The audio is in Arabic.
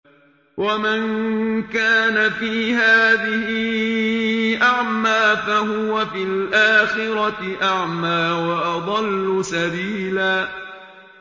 وَمَن كَانَ فِي هَٰذِهِ أَعْمَىٰ فَهُوَ فِي الْآخِرَةِ أَعْمَىٰ وَأَضَلُّ سَبِيلًا